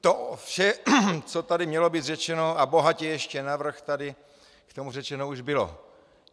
To vše, co tady mělo být řečeno, a bohatě ještě navrch, tady k tomu řečeno už bylo.